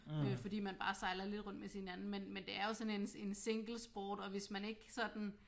Øh fordi man bare sejler lidt rundt med sin anden men men det er jo sådan en en singlesport og hvis man ikke sådan